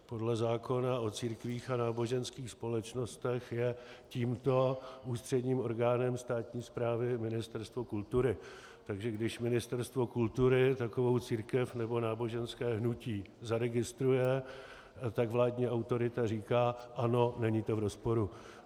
Podle zákona o církvích a náboženských společnostech je tímto ústředním orgánem státní správy Ministerstvo kultury, takže když Ministerstvo kultury takovou církev nebo náboženské hnutí zaregistruje, tak vládní autorita říká: Ano, není to v rozporu.